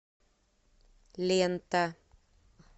лента